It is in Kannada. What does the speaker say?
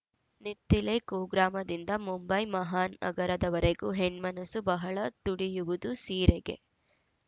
ನಿತ್ತಿಲೆ ಕುಗ್ರಾಮದಿಂದ ಮುಂಬೈ ಮಹಾನಗರದವರೆಗೂ ಹೆಣ್ಮನಸ್ಸು ಬಹಳ ತುಡಿಯುವುದು ಸೀರೆಗೆ